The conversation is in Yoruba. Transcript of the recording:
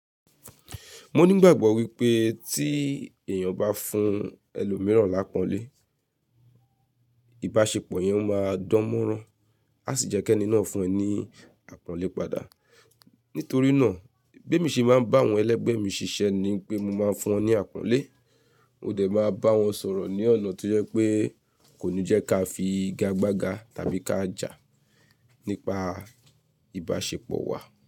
Mo ní ìgbàgbọ́ wípé tí èèyàn bá fún ẹlòmíràn lápọ̀nlé, ìbáṣepọ̀ yẹn máa dán mọ́rán, a sì jẹ́ kí ẹni náà fún ẹ ní àpọ̀nlé padà. Nítorí náà, bí mo ṣe máa ń bá àwọn ẹlẹ́gbẹ́ mi ṣiṣẹ́ ni pé mo máa ń fún wọn ní àpọ̀nlé, mo dẹ̀ máa bá wọn sọ̀rọ̀ ní ọ̀nà tó jẹ́ pé kò ní jẹ́ ká fi igagbága tàbí ká jà nípa ìbáṣepọ̀ wa.